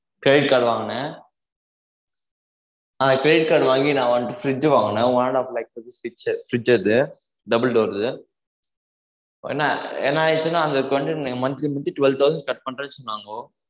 credit card வாங்குனேன் ஆஹ் credit card வாங்கி நா வந்து fridge வாங்கனேன் one and half lakh வந்து fridge அது double door து என்ன என்ன ஆயிச்சுன monthly monthly twelve thousand cut பண்றேன்னு சொன்னாங்கோ